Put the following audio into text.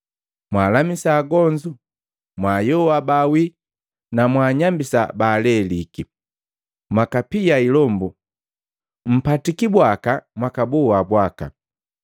Mwalamisa agonzu, mwaayoa baawii na mwaanyambisa baaleliki, mwakapia ilombu. Mpatiki bwaka mwakaboa bwaka.